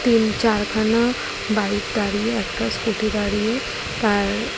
তিন চার খানা বাইক দাঁড়িয়ে একটা স্কুটি দাঁড়িয়ে তার--